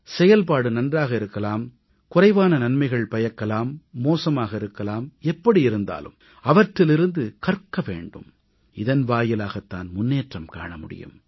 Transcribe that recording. செயல்பாடு நன்றாக இருக்கலாம் குறைவான நன்மைகள் பயக்கலாம் மோசமாக இருக்கலாம் எப்படி இருந்தாலும் அவற்றிலிருந்து கற்க வேண்டும் இதன் வாயிலாகத் தான் முன்னேற்றம் காண முடியும்